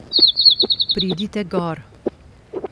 Pridite gor.